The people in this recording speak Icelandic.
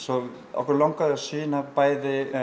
okkur langaði að sýna bæði